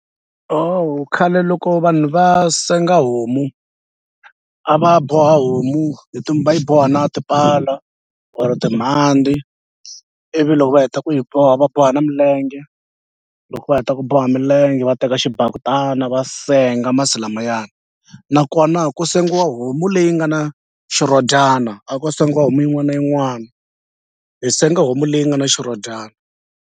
khale loko vanhu va senga homu a va boha homu hi va yi boha na tipala or timhandzi ivi loko va heta ku yi boha va boha na milenge loko va heta ku boha milenge va teka xibakitana va senga masi lamaya nakona ku sengiwa homu leyi nga na xirhodyana a ko sengiwa homu yin'wana na yin'wana hi senga homu leyi nga na xirhodyana.